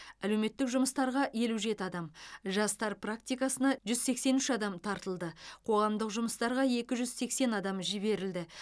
әлеуметтік жұмыстарға елу жеті адам жастар практикасына жүз сексен үш адам тартылды қоғамдық жұмыстарға екі жүз сексен адам жіберілді